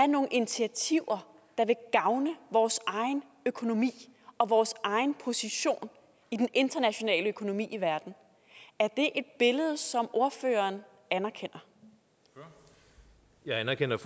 nogle initiativer der vil gavne vores egen økonomi og vores egen position i den internationale økonomi i verden er det billede som ordføreren anerkender anerkender